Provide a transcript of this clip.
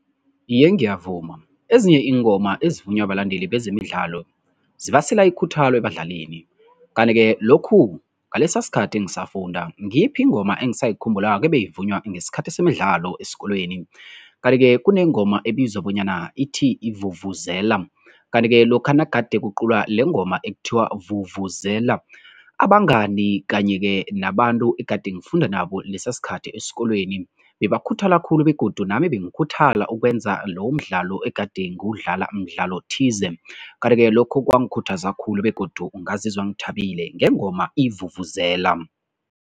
Iye, ngiyavuma. Ezinye iingoma ezivunywa balandeli bezemidlalo zibasela ikhuthalo ebadlalini. Kanti-ke lokhu ngalesa sikhathi ngisafunda ngiyiphi ingoma engisayikhumbulako ebeyivunywa ngesikhathi semidlalo esikolweni? Kanti-ke kunengoma ebizwa bonyana ithi yivuvuzela. Kanti-ke lokha nagade kuculwa lengoma ekuthiwa vuvuzela, abangani kanye-ke nabantu egade ngifunda nabo lesa sikhathi esikolweni, bebakhuthala khulu begodu nami bengikhuthala ukwenza lowo mdlalo egade ngiwudlala mdlalo thize. Kanti-ke lokho kwangikhuthaza khulu begodu ngazizwa ngithabile ngengoma ivuvuzela.